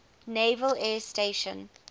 naval air station